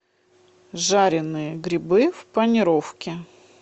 жаренные грибы в панировке